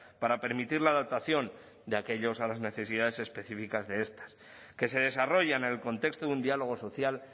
para permitir la adaptación de aquellos a las necesidades específicas de esta que se desarrollan en el contexto de un diálogo social